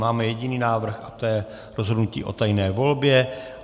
Máme jediný návrh, a to je rozhodnutí o tajné volbě.